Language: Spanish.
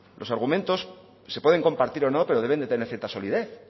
los argumentos se pueden compartir o no pero deben de tener cierta solidez